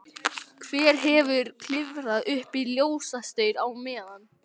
Hver hefur ekki klifrað upp í ljósastaur á meðan?